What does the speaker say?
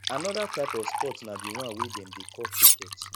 another type of sports na the one wey dem dey call cricket